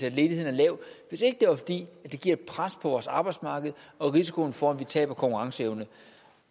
at ledigheden er lav hvis ikke det var fordi det giver et pres på vores arbejdsmarked og en risiko for at vi taber konkurrenceevne